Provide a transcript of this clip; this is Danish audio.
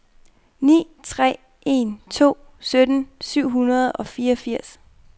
ni tre en to sytten syv hundrede og fireogfirs